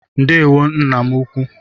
Ndewo nna m ukwu.